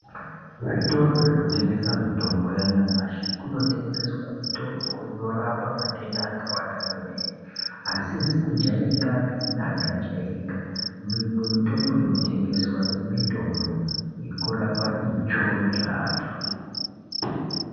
Zvitoro zvinotengesa mutombo yanyamashi kunotengeswa mutombo inorapa matenda akawanda kwemene asizi kujairika pe neakajairika mimwe mitombo inotengesweyo mitombo yekurapa itsvo dzaantu.